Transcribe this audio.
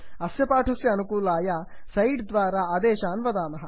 अस्य पाठस्य आनुकूल्याय स्लैड् द्वारा आदेशान् वदामः